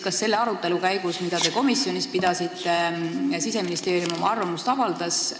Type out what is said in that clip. Kas selle arutelu käigus, mida te komisjonis pidasite, Siseministeerium oma arvamust avaldas?